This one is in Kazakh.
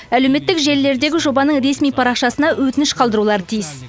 әлеуметтік желілердегі жобаның ресми парақшасына өтініш қалдырулары тиіс